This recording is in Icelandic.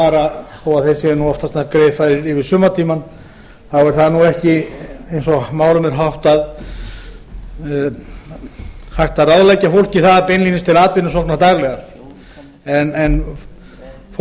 fara þó þeir séu oftast nær greiðfærir yfir sumartímann þá er það ekki eins og málum er háttað hægt að ráðleggja fólki það beinlínis til atvinnusóknar daglega en fólk